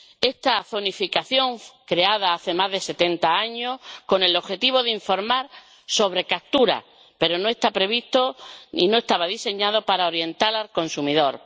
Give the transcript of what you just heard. Esta zonificación se creó hace más de setenta años con el objetivo de informar sobre capturas, pero no está prevista ni diseñada para orientar al consumidor.